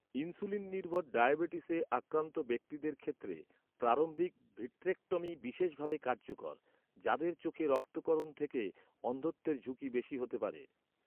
Insulin নির্ভর ডায়াবেটিসে আক্রান্ত ব্যক্তিদের ক্ষেত্রে প্রারম্ভিক ভিট্রেক্টমি বিশেষভাবে কার্যকর, যাদের চোখে রক্তক্ষরণ থেকে অন্ধত্বের ঝুঁকি বেশি হতে পারে।